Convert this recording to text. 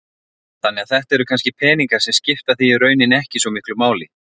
Þannig að þetta eru kannski peningar sem skipta þig í rauninni ekki svo miklu máli?